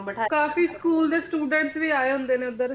ਨੂੰ ਬਿਠਾਇਆ ਕਾਫੀ school ਦੇ students ਵੀ ਆਏ ਹੁੰਦੇ ਨੇ ਉਧਰ ਹਾਂ ਮੈਂ ਵੀ